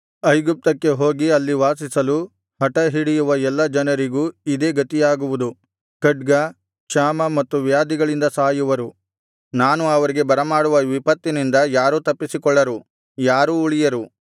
ಐಗುಪ್ತಕ್ಕೆ ಹೋಗಿ ಅಲ್ಲಿ ವಾಸಿಸಲು ಹಟಹಿಡಿಯುವ ಎಲ್ಲಾ ಜನರಿಗೂ ಇದೇ ಗತಿಯಾಗುವುದು ಖಡ್ಗ ಕ್ಷಾಮ ಮತ್ತು ವ್ಯಾಧಿಗಳಿಂದ ಸಾಯುವರು ನಾನು ಅವರಿಗೆ ಬರಮಾಡುವ ವಿಪತ್ತಿನಿಂದ ಯಾರೂ ತಪ್ಪಿಸಿಕೊಳ್ಳರು ಯಾರೂ ಉಳಿಯರು